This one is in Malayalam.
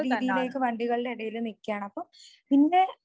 രീതിയിലേക്ക് വണ്ടികളുടെ എടയില് നിക്ക്യാണ്‌.അപ്പൊ പിന്നെ